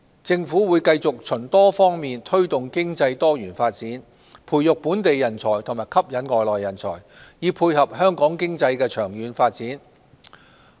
政府會繼續循多方面推動經濟多元發展、培育本地人才及吸引外來人才，以配合香港經濟的長遠發展。